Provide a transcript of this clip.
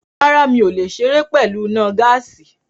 Rárá, mi ò lè ṣeré pẹ̀lú iná gáàsì